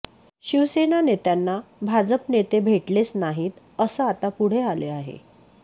शिवसेना नेत्यांना भाजप नेते भेटलेच नाहीत असं आता पुढे आले आहे